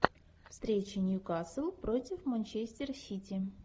встреча ньюкасл против манчестер сити